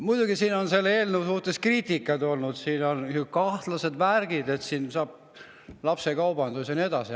Muidugi siin on selle eelnõu kohta kriitikat olnud, et siin on kahtlased värgid, et saab lapsekaubandust ja nii edasi.